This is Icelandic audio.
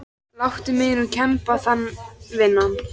Láttu mig nú kemba það vinan.